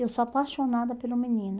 Eu sou apaixonada pelo menino.